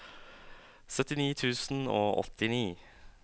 syttini tusen og åttini